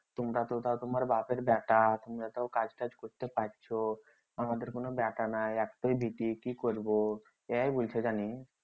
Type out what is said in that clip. তোমরা তো তাও তোমার বাপের বেটা তোমরা তো তাও কাজ তাজ করতে পারছো আমাদের তো কোনো বেটা নাই একটাই বিটি